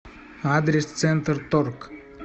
адрес центрторг